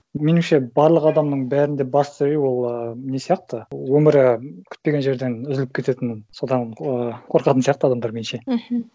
меніңше барлық адамның бәрінде басты үрей ол і не сияқты өмірі күтпеген жерден үзіліп кететін содан ы қорқатын сияқты адамдар меніңше мхм